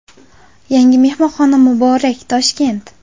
Yangi mehmonxona muborak, Toshkent!